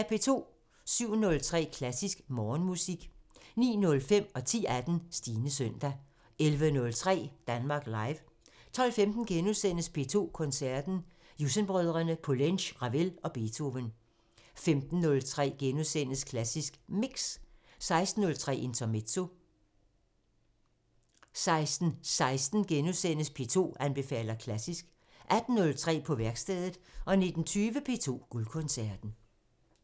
07:03: Klassisk Morgenmusik 09:05: Stines søndag 10:18: Stines søndag 11:03: Danmark Live 12:15: P2 Koncerten – Jussen-brødrene, Poulenc, Ravel og Beethoven * 15:03: Klassisk Mix * 16:03: Intermezzo 16:18: P2 anbefaler klassisk * 18:03: På værkstedet 19:20: P2 Guldkoncerten